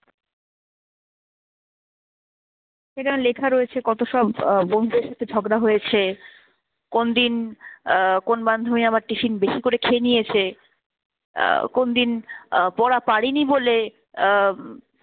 এখানে লেখা রয়েছে কত সব আহ বন্ধুদের সাথে ঝগড়া হয়েছে, কোন দিন আহ কোন বান্ধবী আমার tiffin বেশি করে খেয়ে নিয়েছে, আহ কোন দিন আহ পড়া পারেনি বলে আহ